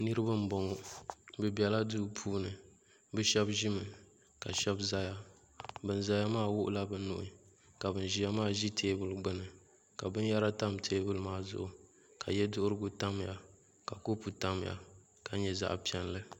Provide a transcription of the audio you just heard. niriba n bɔŋɔ be bɛla do puuni be shɛbi ʒɛmi ka shɛbi zaya bɛn zaya maa wiɣila be nuu ka bɛn ʒɛya maa ʒɛ tɛɛbuli gbani ka bɛnyɛra tam tɛbuli maa zuɣ' ka yɛ duɣigu tamiya ka kopɔ timiya la nyɛ zaɣ' piɛli